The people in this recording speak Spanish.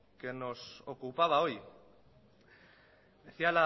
que nos ocupaba hoy decía